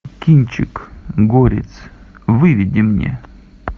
кинчик горец выведи мне